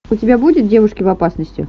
у тебя будет девушки в опасности